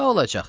Nə olacaq?